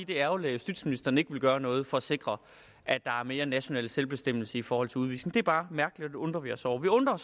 det er ærgerligt at justitsministeren ikke vil gøre noget for at sikre at der er mere national selvbestemmelse i forhold til udvisning det er bare mærkeligt undrer vi os over vi undrer